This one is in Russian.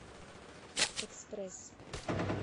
экспресс